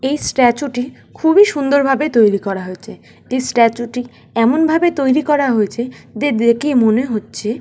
এই স্ট্যাচু টি খুবই সুন্দর ভাবে তৈরি করা হয়েছে এই স্ট্যাচু টি এমন ভাবে তৈরি করা হয়েছে যে দেখে মনে হচ্ছে--